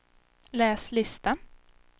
läs lista